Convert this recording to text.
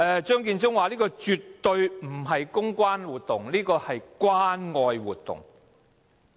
張建宗表示這絕對不是公關活動，而是關愛活動。